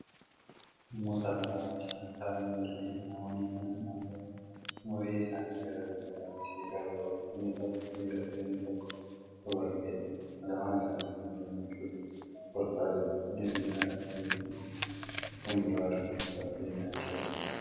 Namoota lama walcinaa taa'anii jiranidha. Namoonni Kuni namoota umriin isaan gara dullummaatti siqaa jirudha. inni tokko dhiira isheen tokkommoo dubartiidha lamaan isaanituu gammachuudhaan kolfaa jiru. inni dhiiraa asheeta midhaan shumbiraa harkatti qabatee nyaachaa Jira.